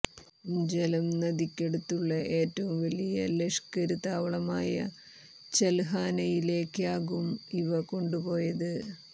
ഝലം നദിക്കടുത്തുള്ള ഏറ്റവും വലിയ ലഷ്ക്കര് താവളമായ ചല്ഹാനയിലേക്കാകും ഇവ കൊണ്ടുപോയത്